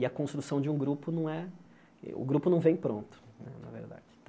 E a construção de um grupo não é... o grupo não vem pronto né, na verdade.